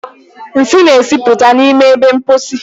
Nsị na-esipụta n'ime ebe mposi.